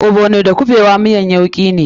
Ogbono da kuɓewa miyan yauki ne.